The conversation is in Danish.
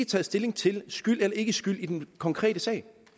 taget stilling til skyld eller ikkeskyld i den konkrete sag